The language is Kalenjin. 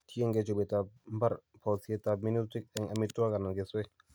tiengei chobeetap nbar bousyetap minutik eng' amiwogik anan kesweek